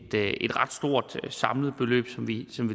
ret stort samlet beløb som vi